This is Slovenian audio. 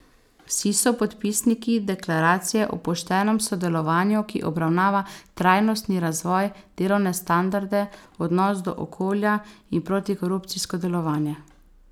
Vsi so podpisniki Deklaracije o poštenem sodelovanju, ki obravnava trajnostni razvoj, delovne standarde, odnos do okolja in protikorupcijsko delovanje.